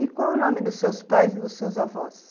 E qual o nome dos seus pais e dos seus avós?